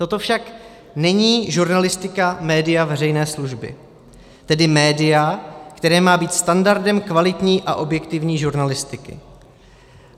Toto však není žurnalistika média veřejné služby, tedy média, které má být standardem kvalitní a objektivní žurnalistiky.